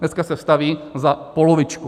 Dneska se staví za polovičku.